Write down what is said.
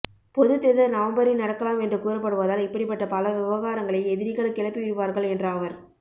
பொதுத்தேர்தல் நவம்பரில் நடக்கலாம் என்று கூறப்படுவதால் இப்படிப்பட்ட பல விவகாரங்களை எதிரிகள் கிளப்பி விடுவார்கள் என்றாவர்